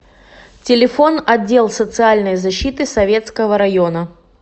телефон отдел социальной защиты советского района